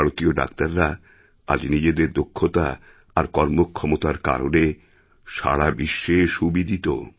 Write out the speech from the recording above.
ভারতীয় ডাক্তাররা আজ নিজেদের দক্ষতা আর কর্মক্ষমতারকারণে সারা বিশ্বে সুবিদিত